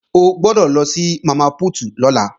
O gbọ́dọ̀ lọ sí Mama Put lọ́la